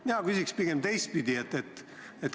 Mina küsin pigem teistpidi.